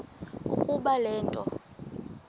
ukuba le nto